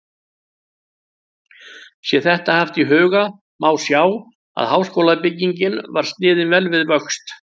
Sé þetta haft í huga, má sjá, að háskólabyggingin var sniðin vel við vöxt.